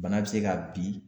Bana bɛ se ka bin.